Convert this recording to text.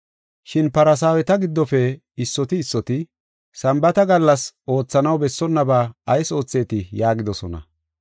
Shin Farsaaweta giddofe issoti issoti, “Sambaata gallas oothanaw bessonnaba ayis oothetii?” yaagidosona.